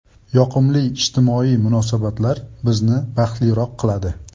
Yoqimli ijtimoiy munosabatlar bizni baxtliroq qiladi.